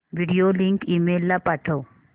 video link email ला पाठव